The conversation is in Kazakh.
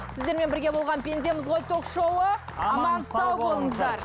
сіздермен бірге болған пендеміз ғой ток шоуы аман сау болыңыздар